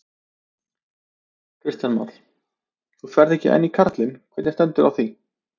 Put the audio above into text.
Kristján Már: Þú ferð en ekki karlinn, hvernig stendur á því?